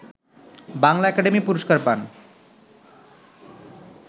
Bangla academy পুরস্কার পান